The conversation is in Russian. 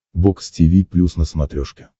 бокс тиви плюс на смотрешке